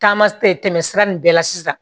Taama tɛmɛ sira nin bɛɛ la sisan